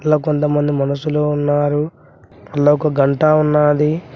ఇలా కొంతమంది మనసులో ఉన్నారు ఒక గంట ఉన్నది.